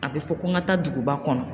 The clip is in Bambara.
A bɛ fɔ ko n ka taa duguba kɔnɔ.